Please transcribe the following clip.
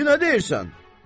İndi nə deyirsən?